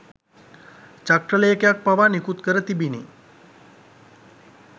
චක්‍රලේඛයක් පවා නිකුත් කර තිබිණි.